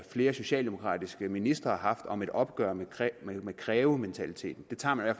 flere socialdemokratiske ministre er kommet om et opgør med krævementaliteten den tager man i